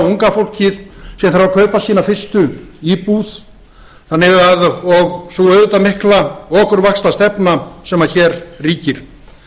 unga fólkið sem þarf að kaupa sína fyrstu íbúð og sú auðvitað mikla okurvaxtastefna sem hér ríkir